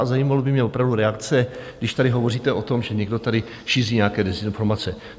A zajímala by mě opravdu reakce, když tady hovoříte o tom, že někdo tady šíří nějaké dezinformace.